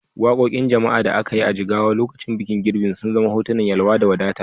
Wakokin jama'a da aka yi a Jigawa a lokacin bikin girbi sun zana hotunan yalwa da wadata.